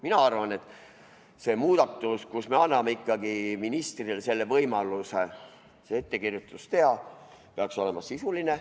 " Mina arvan, et see muudatus, kui me anname ikkagi ministrile võimaluse see ettekirjutus teha, peaks olema sisuline.